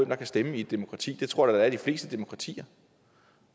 der kan stemme i et demokrati det tror jeg de fleste demokratier